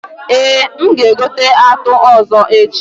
Eh, m ga egote atụ ọzọ echi